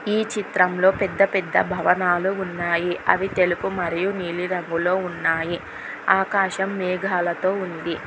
ఈ చిత్రంలో పెద్ద పెద్ద భవనాలు ఉన్నాయి అవి తెలుపు మరియు నీలి రంగులో ఉన్నాయి ఆకాశం మేఘాలతో ఉంది.